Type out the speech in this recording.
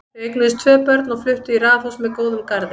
Þau eignuðust tvö börn og fluttu í raðhús með góðum garði.